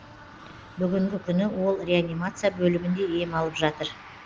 бүгінгі күні ол реанимация бөлімінде ем алып жатыр